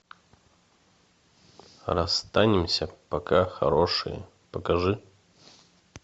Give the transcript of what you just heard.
расстанемся пока хорошие покажи